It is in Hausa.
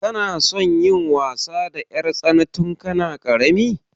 Kana son yin wasa da 'yartsana tun kana ƙarami?